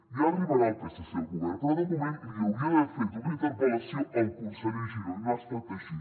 ja arribarà el psc al govern però de moment li hauria d’haver fet una interpel·lació al conseller giró i no ha estat així